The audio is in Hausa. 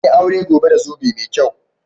Zan yi aure gobe da zobe mai kyau.